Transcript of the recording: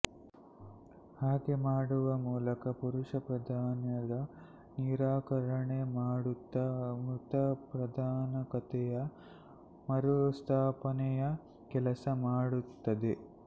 ಹಾಗೆ ಮಾಡುವ ಮೂಲಕ ಪುರುಷ ಪ್ರಾಧಾನ್ಯದ ನಿರಾಕರಣೆ ಮಾಡುತ್ತ ಮಾತೃಪ್ರಧಾನಕತೆಯ ಮರುಸ್ಥಾಪನೆಯ ಕೆಲಸ ಮಾಡುತ್ತದೆ